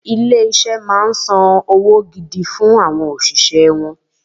Ilé-iṣẹ́ máa ń sanwó gidi fún àwọn òṣìṣẹ́ wọn